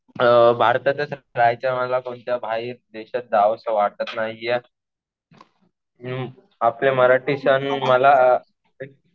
भारतातच राहायचं मला. कोणत्या बाहेर देशात जावं असं वाटतं नाहीये. हम्म. आपले मराठी सण मला